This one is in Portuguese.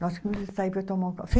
Nós tínhamos que sair para tomar um café.